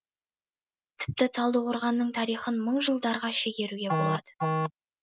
тіпті талдықорғанның тарихын мың жылдарға шегеруге болады